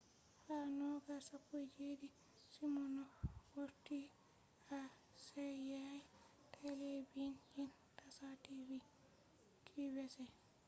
ha 2017 siminoff vorti ha seyeyya telabijin tasha tv qvc